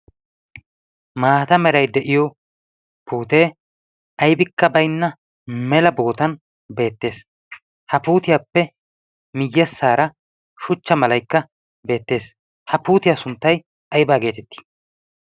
Maata meray de'iyo puutee aybbikka baynna mela bootan beettees. Ha puutiyaappe miyyessaara shuchcha malaykka beettees. ha puutiyaa sunttay aybbaa geetettii?